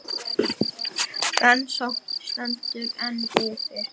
Rétti ósjálfrátt fram hönd og þakkaði fyrir sig með virðulegu handabandi.